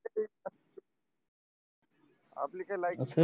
आपली काय लायकीच